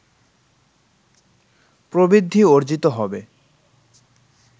প্রবৃদ্ধি অর্জিত হবে